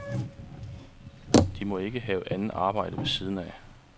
De må ikke have andet arbejde ved siden af.